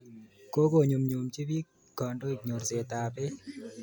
Kokonyumnyumnji piik kandoik nyorset ap peek.